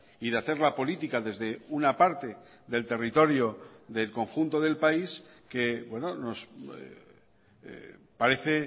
y de hacer la política desde una parte del territorio del conjunto del país que parece